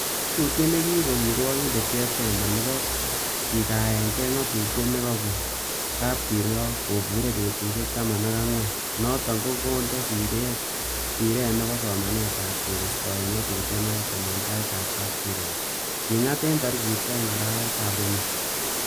Ngatutiet nekikon kirwokindet Chitembe nebo kikaenge ngatutiet nekokon kapkirwok, kobure betusiek taman ak angwan, noton kondo siret nebo sometab ab keistoen ngatutionoton en taitab kapkirwok,''kingat en tarigit oeng arawetab somok.